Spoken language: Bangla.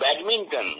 ব্যাডমিন্টন